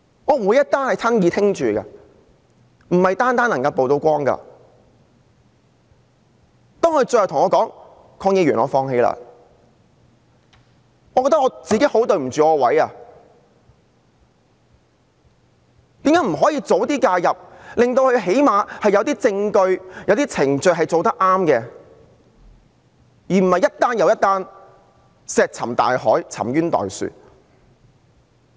當受害人最後對我說："鄺議員，我放棄了"，我覺得自己很對不起自己的職位，我為何不能及早介入，令她們最低限度有些證據和程序得到妥善處理，而不是令一宗又一宗個案石沉大海，沉冤待雪。